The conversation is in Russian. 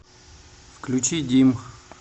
включи дим